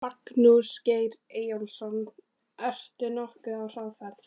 Magnús Geir Eyjólfsson: Ert þú nokkuð á hraðferð?